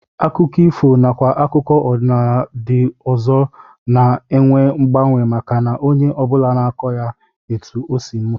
Akụkọ ifo nakwa akụkọ ọdịnala ndị ọzọ na-enwe mgbanwe maka na onye ọ bụla na-akọ ya etu o si mụta